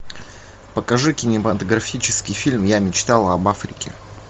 покажи кинематографический фильм я мечтал об африке